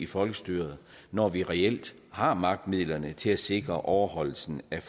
folkestyre når vi reelt har magtmidlerne til at sikre overholdelsen af